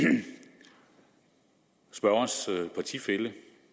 spørgerens partifælle